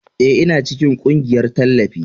Ee, Ina cikin ƙungiyar tallafi.